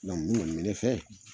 Min ŋɔni mɛ ne fɛ